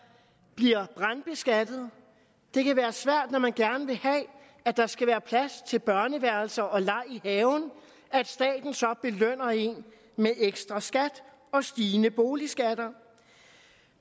bliver brandbeskattet det kan være svært når man gerne vil have at der skal være plads til børneværelser og leg i haven at staten så belønner en med ekstra skatter og stigende boligskatter